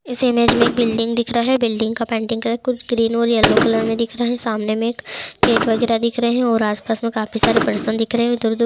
इस इमेज में बिल्डिंग दिख रहा हैं बिल्डिंग का पेंटिंग कलर कुछ ग्रीन और येल्लो दिख रहा हैं सामने में एक डेट वगैरा दिख रहा है आस-पास में काफ़ी सारे पर्सन दिख रहे हैं इधर उधर